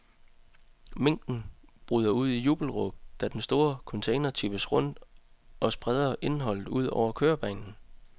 Mængden bryder ud i jubelråb, da den store container tippes rundt og spreder indholdet ud over kørebanen.